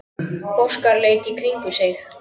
Óskar leit í kringum sig.